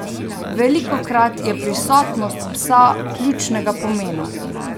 Velikokrat je prisotnost psa ključnega pomena.